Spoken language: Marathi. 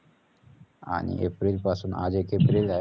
आणि एप्रिलपासून आज एक एप्रिल आहे. हा